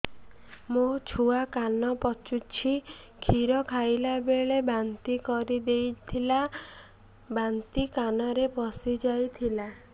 ମୋ ଛୁଆ କାନ ପଚୁଛି କ୍ଷୀର ଖାଇଲାବେଳେ ବାନ୍ତି କରି ଦେଇଥିଲା ବାନ୍ତି କାନରେ ପଶିଯାଇ ଥିଲା